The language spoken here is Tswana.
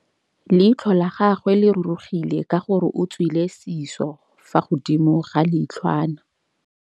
Leitlhô la gagwe le rurugile ka gore o tswile sisô fa godimo ga leitlhwana.